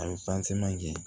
A bɛ kɛ